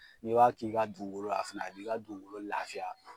N'i b'a k'i ka dugukolo la fɛnɛ a b'i ka dugukolo lafiya.